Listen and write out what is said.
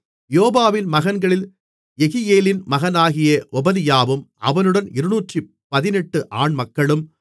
யோவாபின் மகன்களில் யெகியேலின் மகனாகிய ஒபதியாவும் அவனுடன் 218 ஆண்மக்களும்